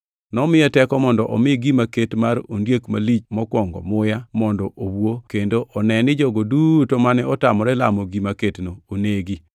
Nomiye teko mondo omi gima ket mar ondiek malich mokwongo muya, mondo owuo kendo one ni jogo duto mane otamore lamo gima ketno onegi.